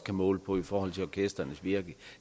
kan måle på i forhold til orkestrenes virke